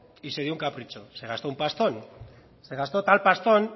y se dio un capricho se gastó un pastón se gastó tal pastón